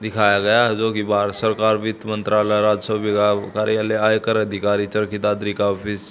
दिखाया गया है जोकि भारत सरकार वित्त मंत्रालय राजस्व विभाग कार्यालय आयकर अधिकारी चरखी दादरी का ऑफिस --